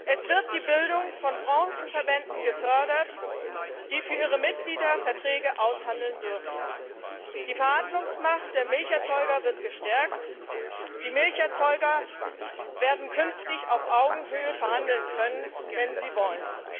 Es wird die Bildung von Branchenverbänden gefördert, die für ihre Mitglieder Verträge aushandeln dürfen. Die Verhandlungsmacht der Milcherzeuger wird gestärkt Sie werden künftig auf Augenhöhe verhandeln können, wenn sie wollen.